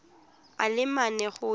a le mane go ya